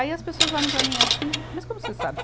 Aí as pessoas olham para mim assim, mas como você sabe?